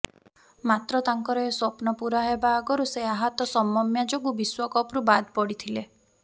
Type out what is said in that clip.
ମାତ୍ର ତାଙ୍କର ଏ ସ୍ବପ୍ନ ପୂରା ହେବା ଆଗରୁ ସେ ଆହତ ସମମ୍ୟା ଯୋଗୁଁ ବିଶ୍ବକପରୁ ବାଦ ପଡିଥିଲେ